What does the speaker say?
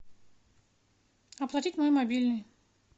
оплатить мой мобильный